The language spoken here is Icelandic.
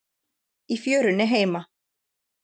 Í fjörunni heima.